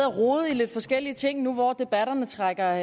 rode lidt i forskellige ting nu hvor debatterne trækker